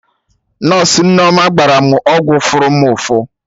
Nọsụ Nneoma gbara mụ ọgwụ fụrụ mụ ụfụ